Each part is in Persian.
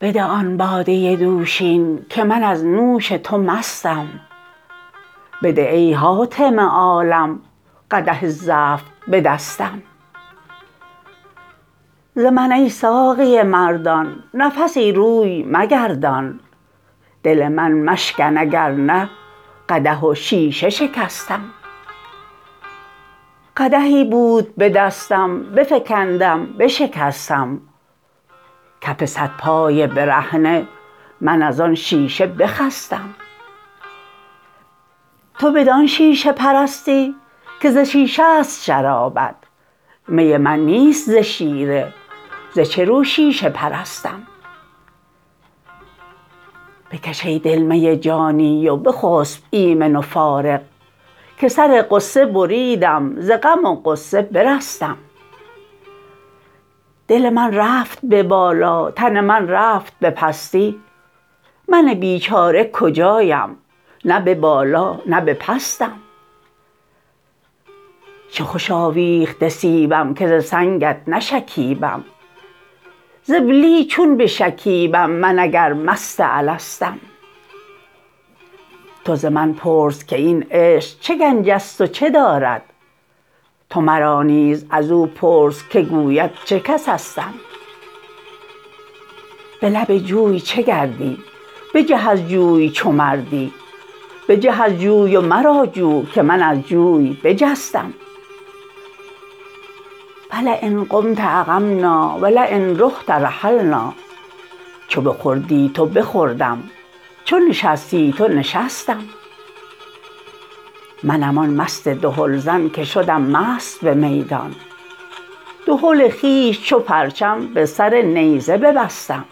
بده آن باده دوشین که من از نوش تو مستم بده ای حاتم عالم قدح زفت به دستم ز من ای ساقی مردان نفسی روی مگردان دل من مشکن اگر نه قدح و شیشه شکستم قدحی بود به دستم بفکندم بشکستم کف صد پای برهنه من از آن شیشه بخستم تو بدان شیشه پرستی که ز شیشه است شرابت می من نیست ز شیره ز چه رو شیشه پرستم بکش ای دل می جانی و بخسب ایمن و فارغ که سر غصه بریدم ز غم و غصه برستم دل من رفت به بالا تن من رفت به پستی من بیچاره کجایم نه به بالا نه به پستم چه خوش آویخته سیبم که ز سنگت نشکیبم ز بلی چون بشکیبم من اگر مست الستم تو ز من پرس که این عشق چه گنج است و چه دارد تو مرا نیز از او پرس که گوید چه کسستم به لب جوی چه گردی بجه از جوی چو مردی بجه از جوی و مرا جو که من از جوی بجستم فلین قمت اقمنا و لین رحت رحلنا چو بخوردی تو بخوردم چو نشستی تو نشستم منم آن مست دهلزن که شدم مست به میدان دهل خویش چو پرچم به سر نیزه ببستم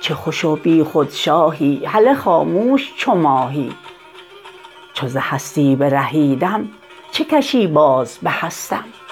چه خوش و بیخود شاهی هله خاموش چو ماهی چو ز هستی برهیدم چه کشی باز به هستم